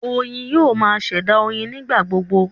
Oyin yoo ma ṣẹ̀dá oyin nigbagbogbo